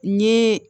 N ye